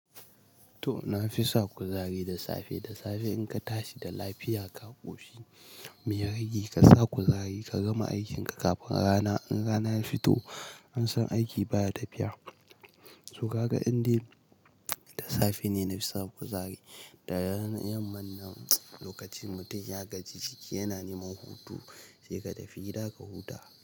To, na fi sa kuzari da safe. Da safe in ka tashi da lafiya, ka koshi meya rage ka sa kuzari ka gama aikin ka kafin rana. In rana ya fito, an san aiki baya tafiya. To ga ka indai da safe ne nafi sa kuzari. Da yan mannan lokacin mutum ya gaji jiki yana neman hutu sai ka tafi gida ka huta.